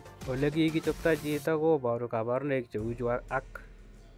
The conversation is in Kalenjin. Olekikichoptaa chitoo kobaruu kabarunaik cheu chuu ak